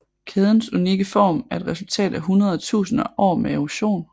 Kædens unikke form er et resultat af hundreder af tusinder af år med erosion